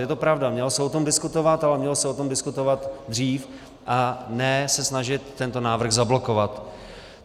Je to pravda, mělo se o tom diskutovat, ale mělo se o tom diskutovat dřív, a ne se snažit tento návrh zablokovat.